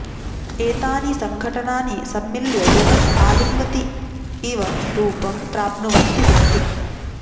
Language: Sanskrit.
एतानि सङ्घटनानि सम्मिल्य जगत् आलिङ्गति इव रूपं प्राप्नुवन्ति सन्ति